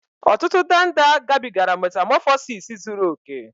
Ọtụtụ ndanda gabigara metamọfọsis zuru oke